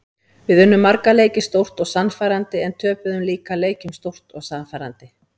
Við unnum marga leiki stórt og sannfærandi en töpuðum líka leikjum stórt og sannfærandi.